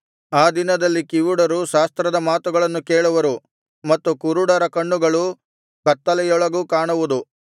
ಆ ದಿನದಲ್ಲಿ ಕಿವುಡರು ಶಾಸ್ತ್ರದ ಮಾತುಗಳನ್ನು ಕೇಳುವರು ಮತ್ತು ಕುರುಡರ ಕಣ್ಣುಗಳು ಕತ್ತಲೆಯೊಳಗೂ ಕಾಣುವುದು